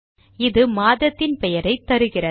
இது மாதத்தின் பெயரை தருகிறது